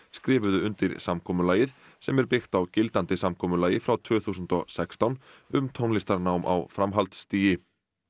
skrifuðu undir samkomulagið sem er byggt á gildandi samkomulagi frá tvö þúsund og sextán um tónlistarnám á framhaldsstigi